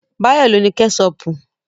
Báyọ̀ ló ní Kẹ́ṣọpù